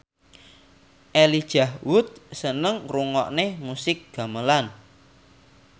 Elijah Wood seneng ngrungokne musik gamelan